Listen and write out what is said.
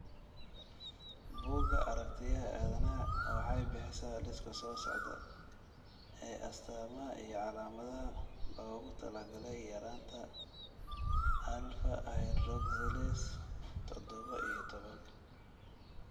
Bugga Aaragtiyaha Aadanaha waxay bixisaa liiska soo socda ee astamaha iyo calaamadaha loogu talagalay yaraanta alfa hydroxylase todoba iyo tobaan.